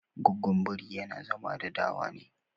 Gwaggon biri yana zama da dawa ne